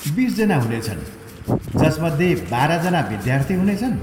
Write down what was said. बिसजना हुनेछन्, जसमध्ये बाह्रजना विद्यार्थी हुनेछन्।